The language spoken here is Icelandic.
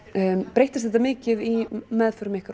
breyttist þetta mikið í meðförum ykkar